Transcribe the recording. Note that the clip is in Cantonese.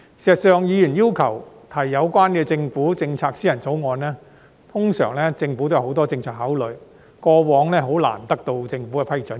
事實上，議員要求提出有關政府政策的私人條例草案，政府通常也有很多政策考慮，過往難以得到政府的批准。